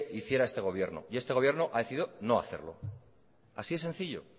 hiciera este gobierno y este gobierno ha decidido no hacerlo así de sencillo